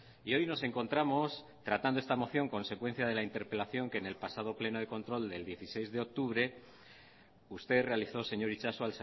y hoy nos encontramos tratando esta moción consecuencia de la interpelación que en el pasado pleno de control del dieciséis de octubre usted realizó señor itxaso